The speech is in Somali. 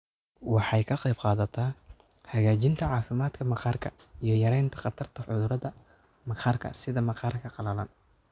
Waxay ka qaybqaadataa hagaajinta caafimaadka maqaarka iyo yaraynta khatarta cudurrada maqaarka sida maqaarka qalalan.